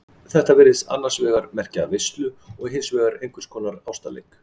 Þetta virðist annars vegar merkja veislu og hins vegar einhvers konar ástarleik.